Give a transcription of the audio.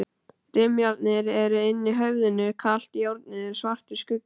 Rimlarnir eru inni í höfðinu, kalt járnið er svartur skuggi.